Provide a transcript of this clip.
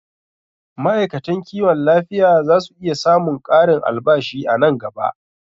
Ma'aikatan kiwon lafiya zasu iya samun ƙarin albashi a nan gaba